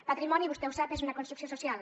patrimoni vostè ho sap és una construcció social